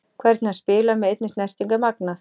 Hvernig hann spilar með einni snertingu er magnað.